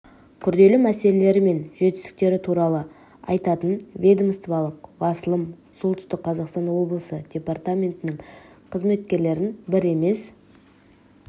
күрделі мәселелері мен жетістіктері туралы айтатын ведомстволық басылым солтүстік қазақстан облысы департаментнің қызметкерлерін бір емес